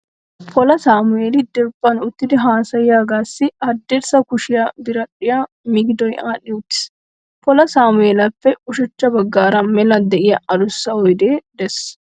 Pola Samu'eeli diriiphan uttidi haasayiyaagassi haddirssa kushiyaa biradhdhiyan migidoyi aadhdhi uttiis. Pola Samu'eelappe ushachcha baggaara mela de'iyaa adussa oyidee de'ees.